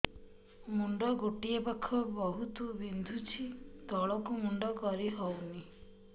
ମୁଣ୍ଡ ଗୋଟିଏ ପାଖ ବହୁତୁ ବିନ୍ଧୁଛି ତଳକୁ ମୁଣ୍ଡ କରି ହଉନି